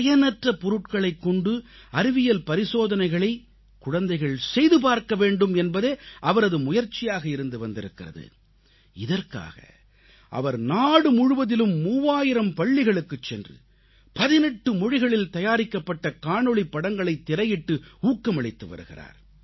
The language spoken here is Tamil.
பயனற்ற பொருட்களைக் கொண்டு அறிவியல் பரிசோதனைகளைக் குழந்தைகள் செய்து பார்க்க வேண்டும் என்பதே அவரது முயற்சியாக இருந்து வந்திருக்கிறது இதற்காக அவர் நாடு முழுவதிலும் 3000 பள்ளிகளுக்குச் சென்று 18 மொழிகளில் தயாரிக்கப்பட்ட காணொளிப் படங்களைக் திரையிட்டு ஊக்கமளித்து வருகிறார்